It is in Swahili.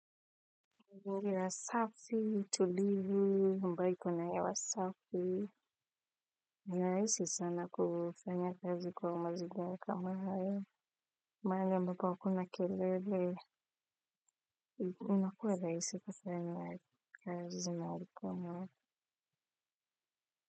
Mazingira safi, tulivu, ambayo iko na hewa safi. Ni rahisi sana kufanya kazi kwa mazingira kama haya. Mahali ambapo hakuna kelele, unakuwa rahisi kufanya kazi zinari kama raya.